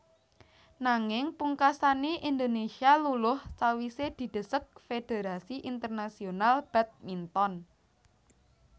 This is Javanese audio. Nanging pungkasané Indonésia luluh sawisé didesek Fédérasi Internasional Badminton